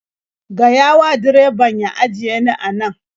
Gaya wa direbabn ya ajiye ni a nan.